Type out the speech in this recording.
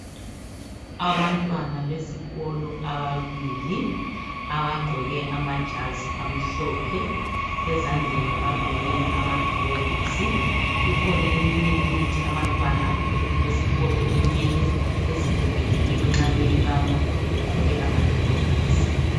Abantwana besikolo ababili abagqoke amajazi amhlophe ezandleni bagqokile amagilovisi. Kukhona eminye imithi abantwana ukube esikolo mele bezivikele kiyo nxa beyibamba begqoke amagilovisi.